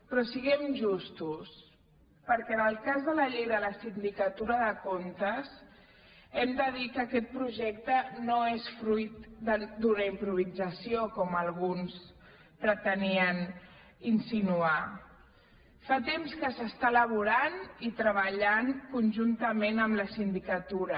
però siguem justos perquè en el cas de la llei de la sindicatura de comptes hem de dir que aquest projecte no és fruit d’una improvisació com alguns pretenien insinuar fa temps que s’està elaborant i treballant conjuntament amb la sindicatura